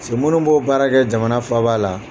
Se minnu b'o baara kɛ jamana faaba la